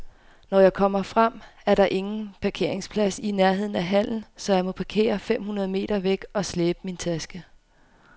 Når jeg kommer frem, er der ingen parkeringsplads i nærheden af hallen, så jeg må parkere fem hundrede meter væk og slæbe min taske.